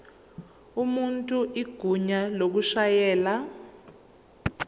umuntu igunya lokushayela